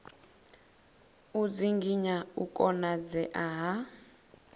u dzinginya u konadzea ha